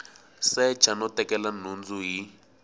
secha no tekela nhundzu hi